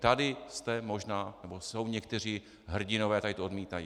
Tady jste možná, nebo jsou někteří hrdinové, tady to odmítají.